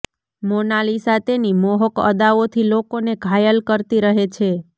મોનાલિસા તેની મોહક અદાઓથી લોકોને ઘાયલ કરતી રહે છે